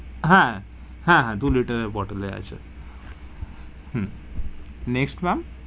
হা হা হা দু liter এর bottle এ আছে হম next ma'am,